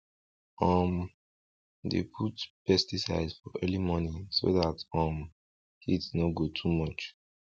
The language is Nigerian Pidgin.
um dem dey put pesticide for early morning so dat um heat no go too much